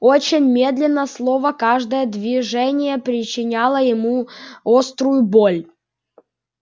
очень медленно словно каждое движение причиняло ему острую боль